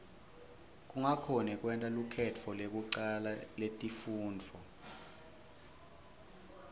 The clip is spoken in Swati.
kungakhoni kwenta lukhetfo lekucala letifundvo